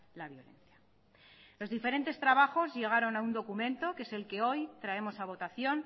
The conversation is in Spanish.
la violencia los diferentes trabajos llegaron a un documento que es el que hoy traemos a votación